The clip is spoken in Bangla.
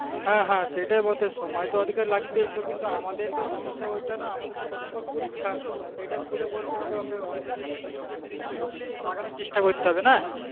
হ্যাঁ হ্যাঁ সেটাই বটে সময় তো ওদিকে লাগবেই কিন্তু আমাদের তো সমস্যা ওটা নয় আমাদের তো কদিন পর পরীক্ষা এটা খুলে বলতে হবে ওকে অন্তর্জালটা যত তাড়াতাড়ি সম্ভব লাগানোর চেষ্টা করতে হবে। না?